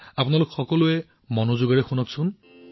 এতিয়া এই সুৰটো মনোযোগেৰে শুনিব